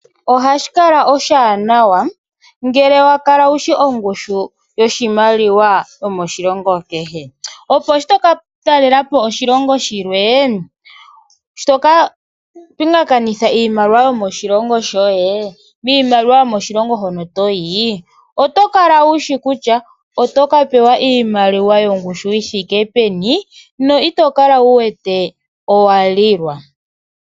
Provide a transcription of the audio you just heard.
Ohashikala oshanawa ngele wakala wushi ongushu yoshimaliwa shomoshilongo kehe opo sho toka talelapo oshilongo shilwe sho toka pingakanitha iimaliwa yomoshilongo shoye miimaliwa yomoshilongo shono toyi otokala wushi kutya oto pewa iimaliwa yongushu yithike peni no itokala wuwete owalilwa.